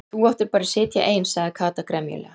Þú áttir bara að sitja ein sagði Kata gremjulega.